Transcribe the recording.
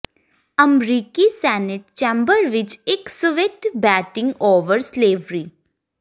ਅਮਰੀਕੀ senate chamber ਵਿੱਚ ਇੱਕ ਸਵਿੱਟ ਬੈਟਿੰਗ ਓਵਰ ਸਲੇਵਵਰੀ